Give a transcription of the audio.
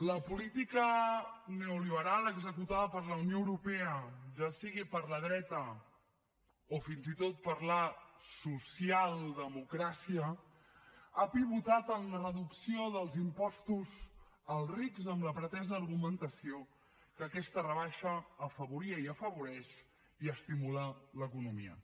la política neoliberal executada per la unió europea ja sigui per la dreta o fins i tot per la socialdemocràcia ha pivotat en la reducció dels impostos als rics amb la pretesa argumentació que aquesta rebaixa afavoria i afavoreix i estimula l’economia